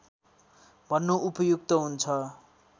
भन्नु उपयुक्त हुन्छ